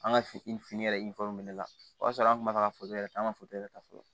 An ka fini yɛrɛ minɛ ne la o y'a sɔrɔ an kun ma taga ka foto yɛrɛ ta an ka yɛrɛ ta fɔlɔ